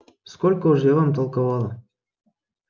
сколько уж я вам толковала